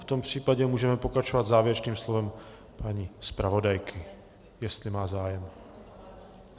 V tom případě můžeme pokračovat závěrečným slovem paní zpravodajky, jestli má zájem.